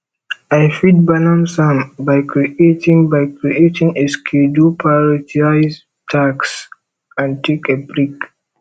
i fit balance am by creating by creating a schedule prioritize tasks and take a break